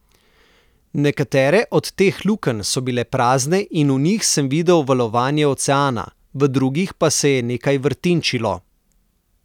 Nekatere od teh lukenj so bile prazne in v njih sem videl valovanje oceana, v drugih pa se je nekaj vrtinčilo.